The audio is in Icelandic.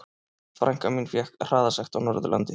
Frænka mín fékk hraðasekt á Norðurlandi.